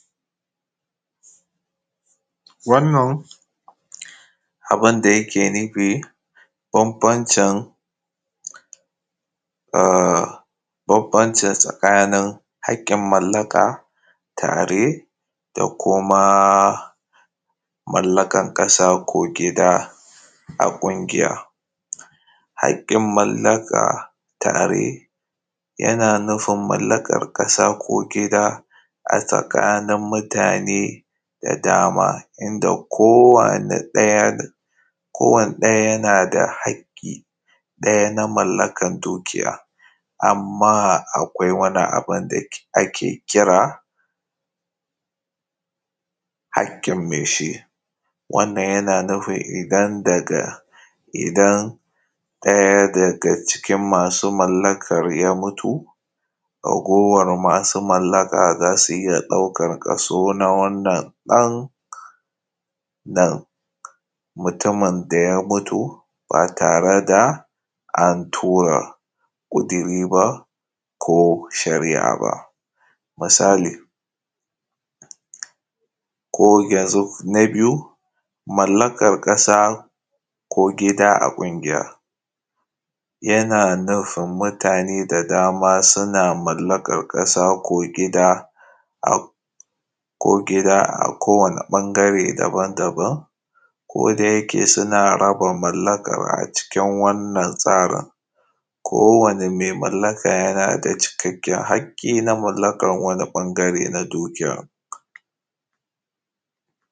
Wannan abunda yake nufi ko wancan a ƙoƙancan tsakani haƙƙin mallaka tare da kuma mallakan ƙasa ko kuma gida ya ƙunshiya haƙƙin mallaka tare yana nufin mallakan ƙasa ko gida a tsakanin mutan da dama inda kowa ya tsayar ko wani ɗaya yana da haƙƙi ɗaya na mallakan dukiya. Amma, akwai wani abu da ake kira haƙƙin me shi, wannan yana nufin idan daga idan ɗaya daga cikin masu mallakan ya fito ragowar masu mallaka za su iya ɗaukan kaso na wanda na mutumin da ya fito ba tare da antura mutumi ba. Ko shari’a misali ko yanzu na ƙasa ko gida a ƙungiya yana nufin mutane da dama suna mallakan ƙasa ko gida ko gida a kowani ɓangare daban-daban ko dai suna raba mallakan a cikin wannan tsarin, wanna mallaka yana da cikakken haƙƙi an mallakan wani ɓangare na dukiya.